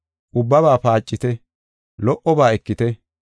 Ubbabaa paacite; lo77oba ekite.